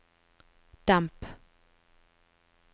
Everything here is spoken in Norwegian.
demp